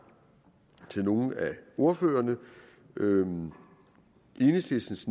til nogle af ordførerne enhedslistens